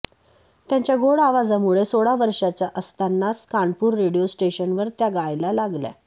त्यांच्या गोड आवाजामुळे सोळा वर्षांच्या असतानाच कानपूर रेडिओ स्टेशनवर त्या गायला लागल्या